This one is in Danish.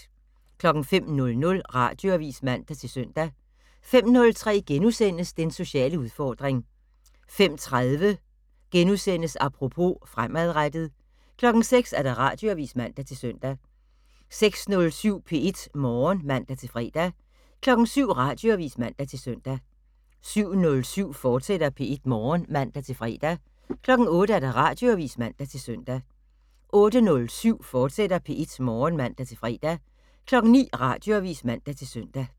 05:00: Radioavis (man-søn) 05:03: Den sociale udfordring * 05:30: Apropos - fremadrettet * 06:00: Radioavis (man-søn) 06:07: P1 Morgen (man-fre) 07:00: Radioavis (man-søn) 07:07: P1 Morgen, fortsat (man-fre) 08:00: Radioavis (man-søn) 08:07: P1 Morgen, fortsat (man-fre) 09:00: Radioavis (man-søn)